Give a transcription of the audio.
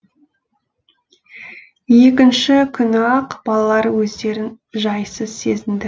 екінші күні ақ балалар өздерін жайсыз сезінді